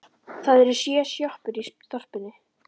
Það eru sjö sjoppur í þorpinu!